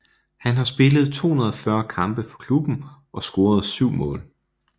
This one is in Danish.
Han har spillet 240 kampe for klubben og scorede syv mål